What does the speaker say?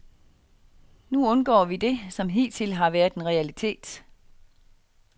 Nu undgår vi det, som hidtil har været en realitet.